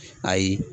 Ayi